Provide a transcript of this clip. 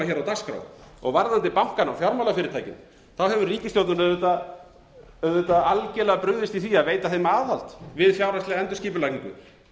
á dagskrá varðandi bankana og fjármálafyrirtækin hefur ríkisstjórnin auðvitað algjörlega brugðist í því að veita þeim aðhald við fjárhagslega endurskipulagningu